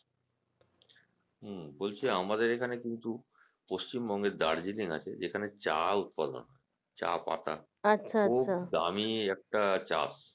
হুম বলছি আমাদের এখানে কিন্তু পশ্চিমবঙ্গের Darjeeling আছে যেখানে চা উৎপন্ন হয় চা পাতা খুব দামি একটা চা